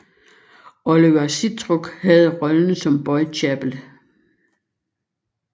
Oliver Sitruk havde rollen som Boy Capel